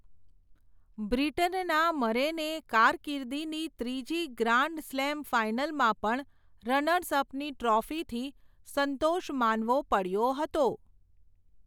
બ્રિટનના મરેને કારકિર્દીની ત્રીજી ગ્રાન્ડ સ્લેમ ફાઇનલમાં પણ, રનર્સ અપની ટ્રોફીથી સંતોષ માનવો પડયો હતો.